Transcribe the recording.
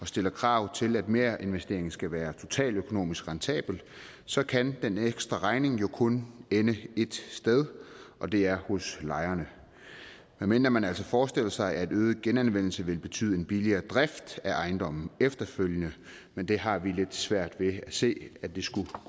stilles krav til at merinvesteringen skal være totaløkonomisk rentabel så kan den ekstra regning jo kun ende ét sted og det er hos lejerne medmindre man altså forestiller sig at en øget genanvendelse vil betyde en billigere drift af ejendommen efterfølgende men det har vi lidt svært ved at se skulle